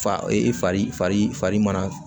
Fa e fari farin faga